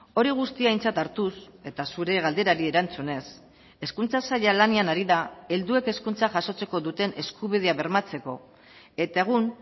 hori guztia aintzat hartuz eta zure galderari erantzunez hezkuntza saila lanean ari da helduek hezkuntza jasotzeko duten eskubidea bermatzeko eta egun